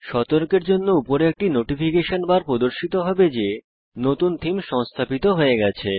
সতর্কের জন্য উপরে একটি নোটিফিকেশন বার প্রদর্শিত হবে যে নতুন থীম সংস্থাপিত হয়ে গেছে